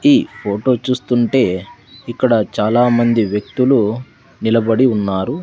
ఈ ఫోటో చూస్తుంటే ఇక్కడ చాలా మంది వ్యక్తులు నిలబడి ఉన్నారు.